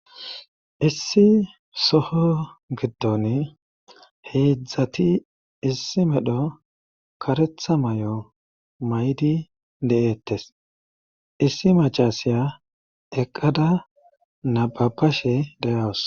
Assi soho giddon heedzdzati issi medho karetha may'o maydi de'ettes issi macasiya eqqada nababashe derawus